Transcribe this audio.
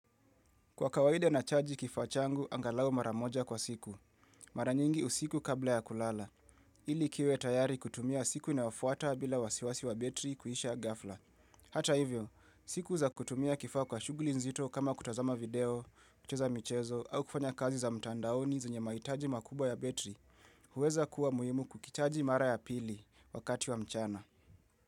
Kwa kawaida nachaji kifaa changu, angalao mara moja kwa siku. Mara nyingi usiku kabla ya kulala. Ili kiwe tayari kutumia siku inaofuata bila wasiwasi wa betri kuisha ghafla. Hata hivyo, siku za kutumia kifaa kwa shughuli nzito kama kutazama video, kucheza mchezo, au kufanya kazi za mtandaoni zenye mahitaji makubwa ya betri huweza kuwa muhimu kukichaji mara ya pili wakati wa mchana.